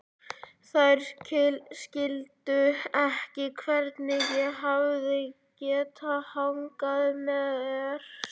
Þær skildu ekki hvernig ég hafði getað hagað mér svona.